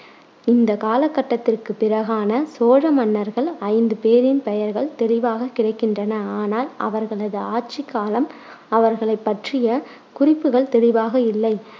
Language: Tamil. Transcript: இந்தக் காலகட்டத்திற்குப் பிறகான சோழ மன்னர்கள் ஐந்து பேரின் பெயர்கள் தெளிவாகக் கிடைக்கின்றன ஆனால் அவர்களது ஆட்சிக்காலம் அவர்களைப் பற்றிய குறிப்புக்கள் தெளிவாக இல்லை.